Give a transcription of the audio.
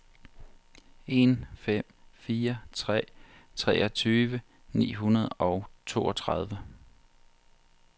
en fem fire tre treogtyve ni hundrede og toogtredive